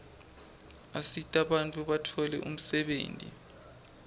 asita bantfu batfole umsebenti